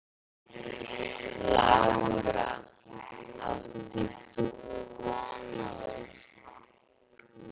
Lára: Áttir þú von á þessu?